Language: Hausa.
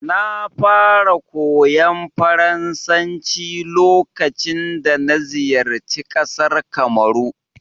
Na fara koyon Faransanci lokacin dana ziyarci ƙasar Kamaru.